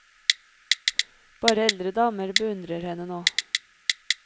Bare eldre damer beundrer henne ennå.